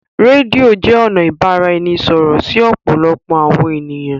Rédíò jé ọnà tí ibaraẹnisọrọ sí òpòlopò àwọn ènìyàn.